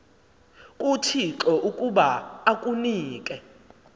kuthixo ukuba akunike